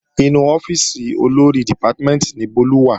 Inú ọ́fíìsì Olórí dìpátímẹ̀ntì ni Bólú wà